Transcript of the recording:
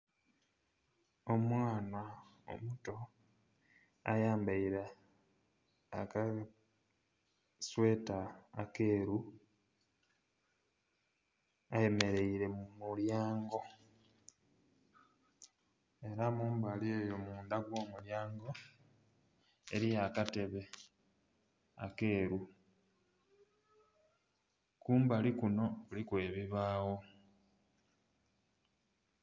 Omwaana omuto ayambaire akasweta akeeru ayemereire mu mulyango era mumbali eyo mundha mwo mulyango eriyo akatebe akeeru, kumbali kunho kuliku ebibagho.